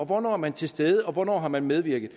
hvornår er man til stede og hvornår har man medvirket